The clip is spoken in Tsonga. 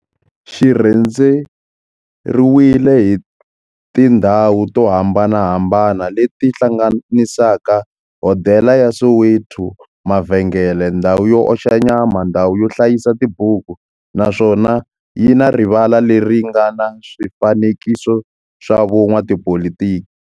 Xi rhendzeriwile hi tindhawu to hambanahambana le ti hlanganisaka, hodela ya Soweto, mavhengele, ndhawu yo oxa nyama, ndhawu yo hlayisa tibuku, naswona yi na rivala le ri nga na swifanekiso swa vo n'watipolitiki.